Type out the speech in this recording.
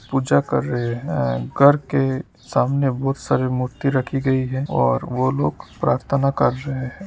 पूजा कर रहे है करके सामने बहुत सारे मूर्ति रखी गई है और वो लोग प्रार्थाना कर रहे है।